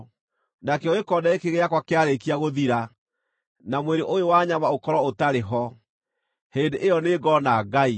Nakĩo gĩkonde gĩkĩ gĩakwa kĩarĩkia gũthira, na mwĩrĩ ũyũ wa nyama ũkorwo ũtarĩ ho, hĩndĩ ĩyo nĩ ngoona Ngai;